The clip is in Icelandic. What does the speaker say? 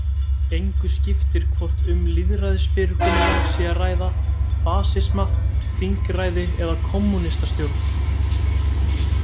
Engu skiptir hvort um lýðræðisfyrirkomulag sé að ræða, fasisma, þingræði eða kommúnistastjórn.